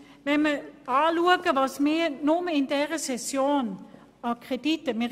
Betrachten wir doch einmal, wie viele Kredite wir in dieser Session bereits gesprochen haben.